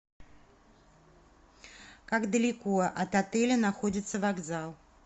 как далеко от отеля находится вокзал